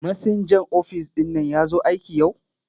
Masinjan ofis ɗin nan ya zo aiki yau?